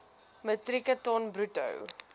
metrieke ton bruto